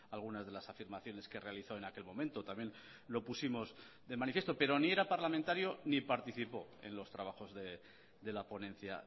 algunas de las afirmaciones que realizó en aquel momento también lo pusimos de manifiesto pero ni era parlamentario ni participó en los trabajos de la ponencia